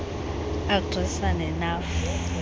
agri sa nenafu